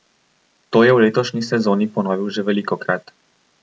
To je v letošnji sezoni ponovil že velikokrat.